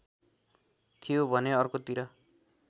थियो भने अर्कोतिर